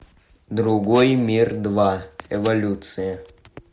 другой мир два эволюция